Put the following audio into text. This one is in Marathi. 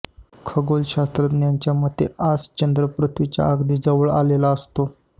खगोल शास्त्रज्ञांच्या मते आज चंद्र पृथ्वीच्या अगदी जवळ आलेला असतो